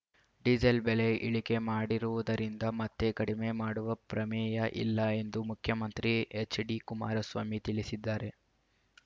diesel ಬೆಲೆ ಇಳಿಕೆ ಮಾಡಿರುವುದರಿಂದ ಮತ್ತೆ ಕಡಿಮೆ ಮಾಡುವ ಪ್ರಮೇಯ ಇಲ್ಲ ಎಂದು ಮುಖ್ಯಮಂತ್ರಿ ಎಚ್‌ಡಿಕುಮಾರಸ್ವಾಮಿ ತಿಳಿಸಿದ್ದಾರೆ